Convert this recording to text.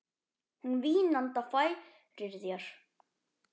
Hún vínanda færir þér.